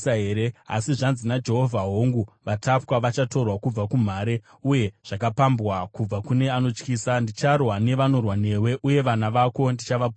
Asi zvanzi naJehovha, “Hongu vatapwa vachatorwa kubva kumhare, uye zvakapambwa kubva kune anotyisa; ndicharwa nevanorwa newe, uye vana vako ndichavaponesa.